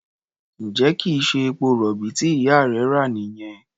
Ǹjẹ́ kì í ṣe epo-rọ̀bì tí ìyá rẹ rà nìyẹn?